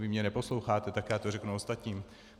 Vy mě neposloucháte, tak já to řeknu ostatním.